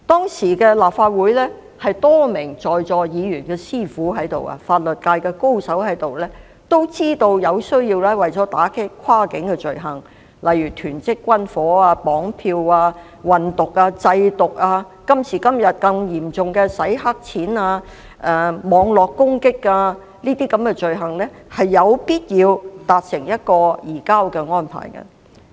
當時立法會中，有多名議員是法律界高手——他們是現時在座一些議員的師傅——也知道為了打擊一些跨境罪行，例如囤積軍火、綁票、運毒、製毒，以至今時今日，更嚴重的洗黑錢、網絡攻擊等罪行，有必要與國家達成移交安排。